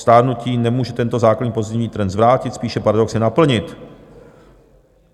Stárnutí nemůže tento základní pozitivní trend zvrátit, spíše paradoxně naplnit.